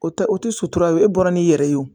O tɛ o tɛ sutura ye e bɔra ni i yɛrɛ ye o